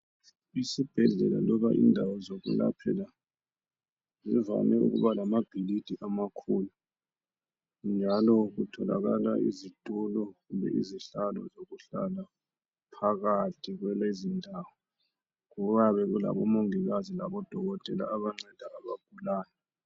Esibhedlela loba indawo zokwelaphela, zivame ukuba lamabhilidi amakhulu, njalo kutholakala izitulo kumbe izihlalo zokuhlala. Phakathi kulezindawo okuyabe kulabomongikazi labodokotela abanceda abagulayo.